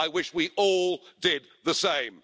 I wish we all did the same.